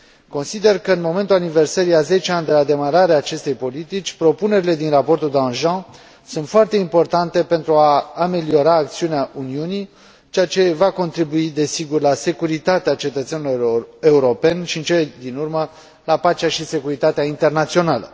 Consider că în momentul aniversării a zece ani de la demararea acestei politici, propunerile din raportul Danjean sunt foarte importante pentru a ameliora acțiunea Uniunii, ceea ce va contribui, desigur, la securitatea cetățenilor europeni și, în cele din urmă, la pacea și securitatea internațională.